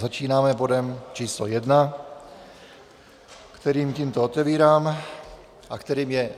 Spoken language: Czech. Začínáme bodem číslo 1, kterým tímto otevírám a kterým je